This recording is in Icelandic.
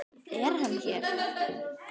Er hann hér?